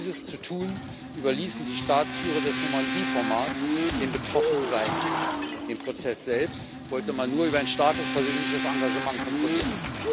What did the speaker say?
Dies zu tun, überließen die Staatsführer des Normandie Formats den betroffenen Seiten. Den Prozess selbst wollte man nur über ein starkes persönliches Engagement kontrollieren.